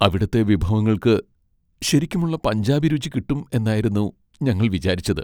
അവിടുത്തെ വിഭവങ്ങൾക്ക് ശരിക്കുമുള്ള പഞ്ചാബി രുചി കിട്ടും എന്നായിരുന്നു ഞങ്ങൾ വിചാരിച്ചത്.